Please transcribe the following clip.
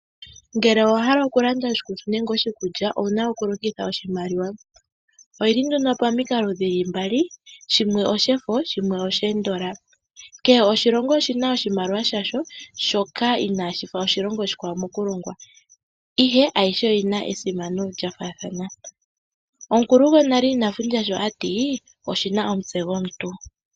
Ngele owa hala oku landa oshikutu nenge oshikulya owu na oku longitha oshimaliwa, oyi li nduno moongundu mbali , shimwe oshefo shimwe oshikukutu. Kehe oshilongo oshi na oshimaliwa sha sho shoka inaashifa shoshilongo oshikwawo mokulongwa ihe ayihe oyina esimano lya faathana. Omukulu gwonale ina fundja shi a tile oshi na omutse gwomuntu.